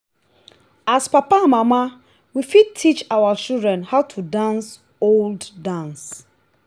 as papa and mama we fit teach our children how to dance old dance